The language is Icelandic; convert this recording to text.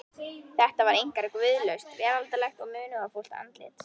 Þetta var einkar guðlaust, veraldlegt og munúðarfullt andlit.